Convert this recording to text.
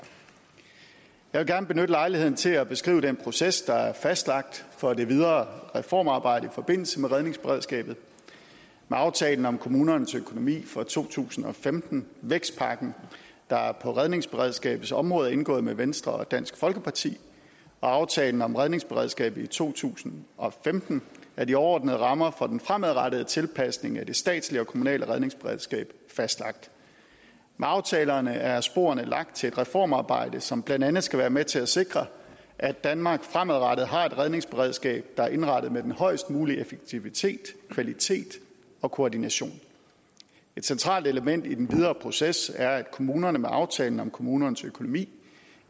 jeg vil gerne benytte lejligheden til at beskrive den proces der er fastlagt for det videre reformarbejde i forbindelse med redningsberedskabet med aftalen om kommunernes økonomi for to tusind og femten vækstpakken der på redningsberedskabets område er indgået med venstre og dansk folkeparti og aftalen om redningsberedskabet i to tusind og femten er de overordnede rammer for den fremadrettede tilpasning af det statslige og kommunale redningsberedskab fastlagt med aftalerne er sporene lagt til et reformarbejde som blandt andet skal være med til at sikre at danmark fremadrettet har et redningsberedskab der er indrettet med den højest mulige effektivitet kvalitet og koordination et centralt element i den videre proces er at kommunerne med aftalen om kommunernes økonomi